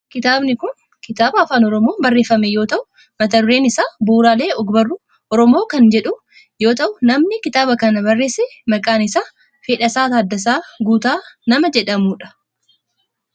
Kitaabni kun kitaaba afaan oromoon barreeffame yoo ta'u mata dureen isaa bu'uraalee ogbarruu oromoo kan jedhu yoo ta'u namni kitaaba kana barreesse maqaan isaa Fedhasaa Taaddasaa Guutaa nama jedhamu dha.